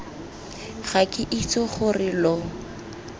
ga ke itse gore lo